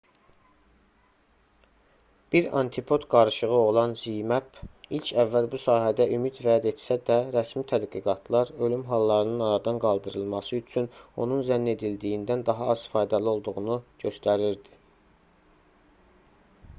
bir antipod qarışığı olan zmapp ilk əvvəl bu sahədə ümid vəd etsə də rəsmi tədqiqatlar ölüm hallarının aradan qaldırılması üçün onun zənn edildiyindən daha az faydalı olduğunu göstərirdi